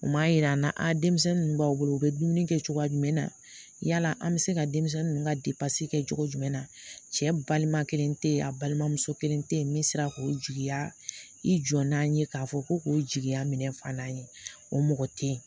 U m'a yira an na denmisɛnnin ninnu b'aw bolo u bɛ dumuni kɛ cogoya jumɛn na yala an bɛ se ka denmisɛnnin ninnu ka kɛ cogo jumɛn na cɛ balima kelen tɛ yen a balima muso kelen tɛ yen min sera k'o jigiya i jɔ n'a ye k'a fɔ ko k'o jigiya minɛ fa n'a ye o mɔgɔ tɛ ye